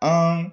An